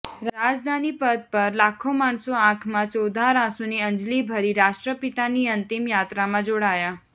રાજધાની પથ પર લાખ્ખો માણસો આંખમાં ચોધાર આંસુની અંજલિભરી રાષ્ટ્રપિતાની અંતિમ યાત્રામાં જોડાયા